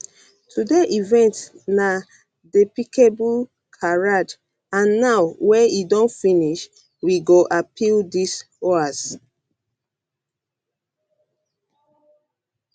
today event na despicable charade and now wey e don finish we go appeal dis hoax